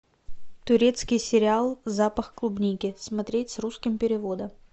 турецкий сериал запах клубники смотреть с русским переводом